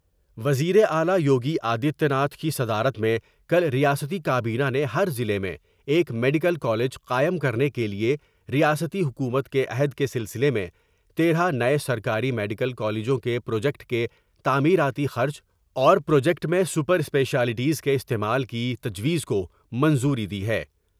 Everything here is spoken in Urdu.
وزیراعلی یوگی آدتیہ ناتھ کی صدارت میں کل ریاستی کابینہ نے ہر ضلع میں ایک میڈیکل کالج قائم کرنے کے ریاستی حکومت کے عہد کے سلسلے میں تیرہ نئے سرکاری میڈیکل کالجوں کے پروجیکٹ کے تعمیراتی خرچ اور پروجیکٹ میں سپر اسپیشلٹیز کے استعمال کی تجویز کو منظوری دی ہے ۔